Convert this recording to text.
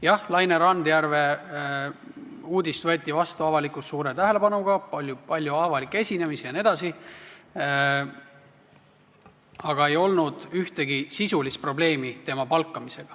Jah, uudis Laine Randjärve kohta võeti avalikkuses vastu suure tähelepanuga, oli palju avalikke esinemisi jne, aga tema palkamisega ei olnud ühtegi sisulist probleemi.